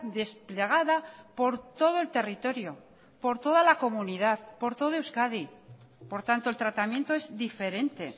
desplegada por todo el territorio por toda la comunidad por todo euskadi por tanto el tratamiento es diferente